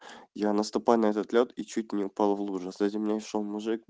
я наступаю на этот лёд и чуть не упал в лужу сзади меня шёл мужик